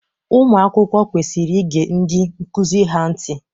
Ụmụ akwụkwọ kwesiri ige ndị nkụzi ha ntị.